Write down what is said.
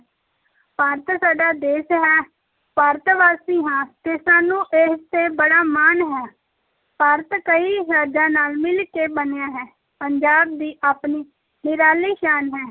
ਭਾਰਤ ਸਾਡਾ ਦੇਸ ਹੈ, ਭਾਰਤਵਾਸੀ ਹਾਂ ਤੇ ਸਾਨੂੰ ਇਸ ‘ਤੇ ਬੜਾ ਮਾਣ ਹੈ, ਭਾਰਤ ਕਈ ਰਾਜਾਂ ਨਾਲ ਮਿਲ ਕੇ ਬਣਿਆ ਹੈ, ਪੰਜਾਬ ਦੀ ਆਪਣੀ ਨਿਰਾਲੀ ਸ਼ਾਨ ਹੈ।